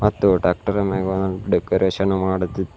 ಮತ್ತು ಟಾಕ್ಟರ್ ಮ್ಯಾಗ ಡೆಕೋರೇಷನ್ ಮಾಡುತ್ತಿದ್ದಾರೆ.